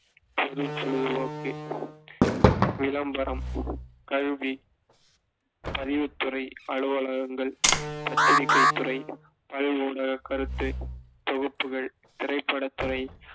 பொழுதுபோக்கு, விளம்பரம், கல்வி, பதிவுத்துறை அலுவலகங்கள், பத்திரிகைத் துறை, பல் ஊடக கருத்துத் தொகுப்புகள், திரைப்படத் துறை